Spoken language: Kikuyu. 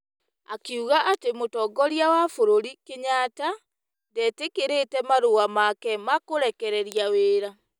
Akiuga atĩ mũtongoria wa bũrũri, Kenyatta, ndetĩkĩrĩte marũa make ma kũrekereria wĩra.